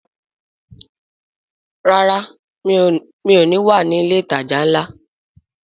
Rárá, mi ò ní wà ní ilé ìtajà ńlá